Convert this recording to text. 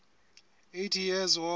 eighty years war